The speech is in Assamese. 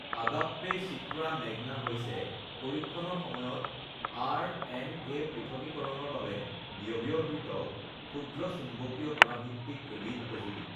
আগাপ্পে চিত্ৰা মেগনা হৈছে পৰীক্ষণৰ সময়ত আৰ এন এ পৃথকীকৰণৰ বাবে ব্যৱহৃত ক্ষূদ্ৰ চুম্বকীয় কণা ভিত্তিক এবিধ সঁজুলি